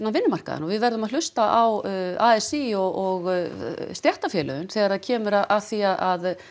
vinnumarkaðinn og við verðum að hlusta á a s í og stéttarfélögin þegar það kemur að því að